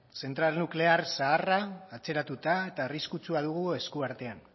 zentral nuklear zaharra atzeratuta eta arriskutsua dugu esku artean